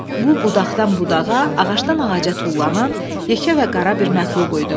Bu budaqdan budağa, ağacdan ağaca tullanan yekə və qara bir məxluq idi.